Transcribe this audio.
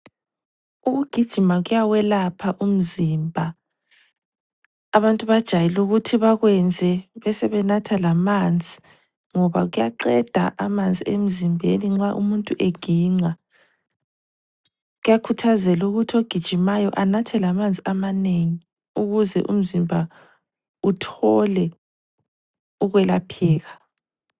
Ukugijima kuyawelapha umzimba, abantu bajayele ukuthi bakwenze, besebenatha lamanzi ngoba kuyaqeda amanzi emzimbeni nxa umuntu eginqa, kuyakhuthazela ukuthi umuntu ogijimayo anathe amanzi amanengi ukuze umzimba uthole ukwelapheka.